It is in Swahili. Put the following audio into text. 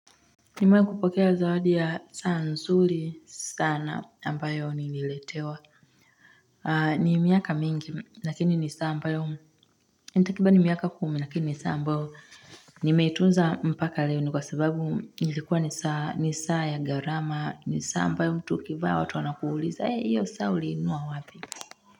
Nimewahi kupokea zawadi ya saa nsuri sana ambayo nililetewa. Ni miaka mingi, lakini ni saa ambayo ni takribani miaka kumi, lakini ni saa ambayo. Nimeitunza mpaka leo ni kwa sababu ilikuwa ni saa ya gharama. Ni saa ambayo mtu ukivaa watu wanakuuliza. Iyo saa ulinunua wapi.